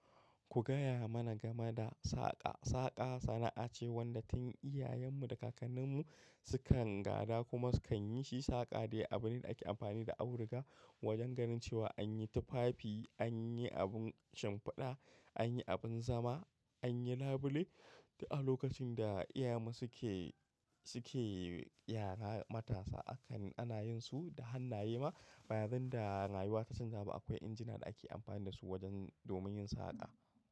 Ku gaya mana game da saƙa. Saƙa sana'a ce wadda tun iyayenmu da kakanninmu sukan gada kuma sukan yi shi. Saƙa dai abune da ake amfani da abu riga wajen ganin cewa an yi tufafi, an yi abun shimfiɗa, an yi abin zama, an yi labule. Da a lokacin da iyayenmu suke, suke yara matasa akan ana yin su da hannaye ma. Ba yanda rayuwa ta canja ba, akwai injina da ake amfani da su wajen domin yin saƙa.